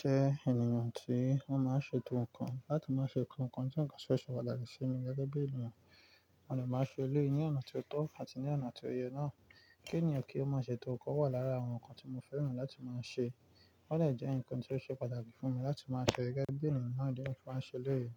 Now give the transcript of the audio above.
jẹ ènìyàn tí o máa ń ṣe to ǹkan láti máa ṣe to ǹkan je ò ṣe pàtàkì sí mi gẹ́gẹ́ bí ènìyàn, mo dè máa ṣe eleyi ní ọ̀nà tí ó tọ́ àti ní ọ̀nà tí ó yẹ náà. Kí eniyan ki o ma ṣe to ǹkan wà lára àwọn ǹkan tí mo fẹ́ràn láti máa ń ṣe, ó dè jẹ ǹkan tí ó ṣe pàtàkì fún mi láti máa ṣe gẹ́gẹ́ bí ènìyàn náà mo máa ń ṣe eleyi.